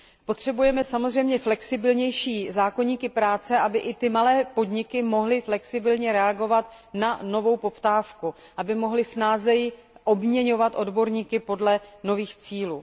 Potřebujeme samozřejmě flexibilnější zákoníky práce, aby i ty malé podniky mohly flexibilně reagovat na novou poptávku, aby mohly snadněji obměňovat odborníky podle nových cílů.